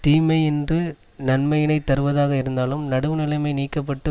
தீமையின்று நன்மையினையே தருவதாக இருந்தாலும் நடுவு நிலைமை நீக்க பட்டு